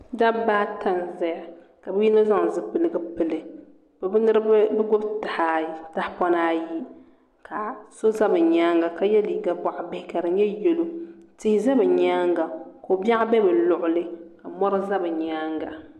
Dabba ata n ʒɛya ka yino zaŋ zipiligu pili ka bi gbubi tahapona ayi ka so ʒɛ bi nyaanga ka yɛ liiga boɣa bihi ka di nyɛ yɛlo tihi ʒɛ bi nyaanga ko biɛɣu bɛ bi luɣuli ka mori ʒɛ bi nyaanga